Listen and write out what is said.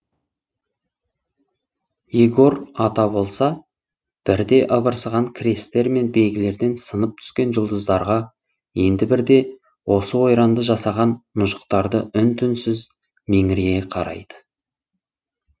егор ата болса бірде ыбырсыған крестер мен белгілерден сынып түскен жұлдыздарға енді бірде осы ойранды жасаған мұжықтарда үн түнсіз меңірейе қарайды